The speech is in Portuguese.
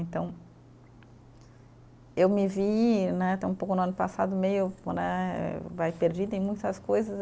Então, eu me vi né, até um pouco no ano passado, meio né perdida em muitas coisas.